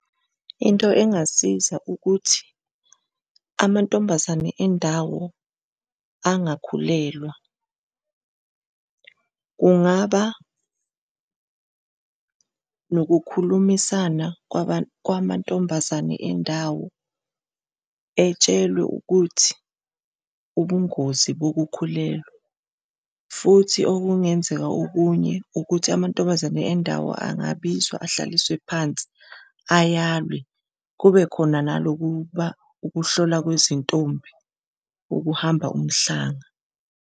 Into engasiza ukuthi amantombazane endawo angakhulelwa, kungaba nokukhulumisana kwamantombazane endawo etshelwe ukuthi ubungozi bokukhulelwa. Futhi okungenzeka okunye ukuthi amantombazane endawo angabizwa ahlaliswe phansi ayalwe, kube khona nalokuba ukuhlola kwezintombi, ukuhamba umhlanga.